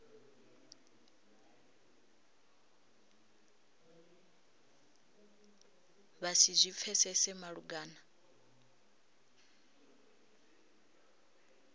vha si zwi pfesese malugana